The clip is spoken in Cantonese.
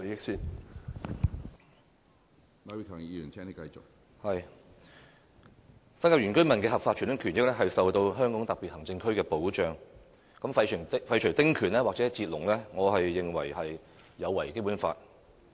新界原居民的合法傳統權益受香港特別行政區的保障，我認為廢除丁權或"截龍"有違《基本法》。